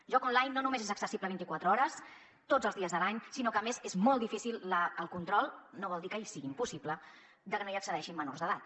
joc online no només és accessible vint i quatre hores tots els dies de l’any sinó que a més és molt difícil el control no vol dir que sigui impossible de que no hi accedeixin menors d’edat